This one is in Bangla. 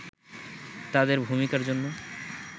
তাদের ভূমিকার জন্য